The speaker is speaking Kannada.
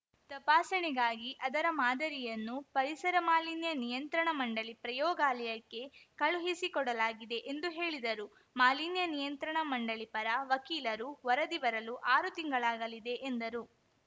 ತಪಸಾಣೆಗಾಗಿ ಅದರ ಮಾದರಿಯನ್ನು ಪರಿಸರ ಮಾಲಿನ್ಯ ನಿಯಂತ್ರಣ ಮಂಡಳಿ ಪ್ರಯೋಗಾಲಯಕ್ಕೆ ಕಳುಹಿಸಿಕೊಡಲಾಗಿದೆ ಎಂದು ಹೇಳಿದರು ಮಾಲಿನ್ಯ ನಿಯಂತ್ರಣ ಮಂಡಳಿ ಪರ ವಕೀಲರು ವರದಿ ಬರಲು ಆರು ತಿಂಗಳಾಗಲಿದೆ ಎಂದರು